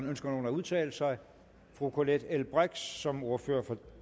ønsker nogen at udtale sig fru colette l brix som ordfører for